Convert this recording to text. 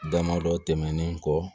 Dama dɔ tɛmɛnen kɔ